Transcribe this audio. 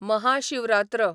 Maha Shivratri